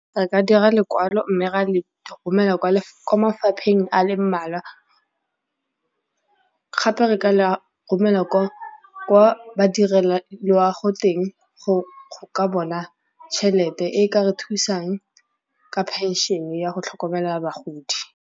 Ba ka dira lekwalo mme ra le romela kwa mafapheng a le mmalwa gape re ka la romelwa kwa badirelwaloago teng go ka bona tšhelete e ka re thusang ka phenšhene ya go tlhokomela bagodi.